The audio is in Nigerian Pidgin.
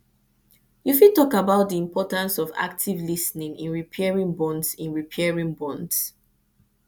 you fit talk about di importance of active lis ten ing in repairing bonds in repairing bonds